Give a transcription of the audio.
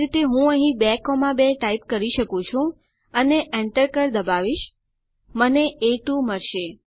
આ જ રીતે હું અહીં 22 માં ટાઇપ કરી શકું છું અને Enter કળ દબાવીશ મને એ2 મળશે